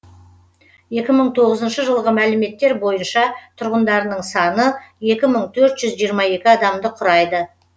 екі мың тоғызышы жылғы мәліметтер бойынша тұрғындарының саны екі мың төрт жүз жиырма екі адамды құрады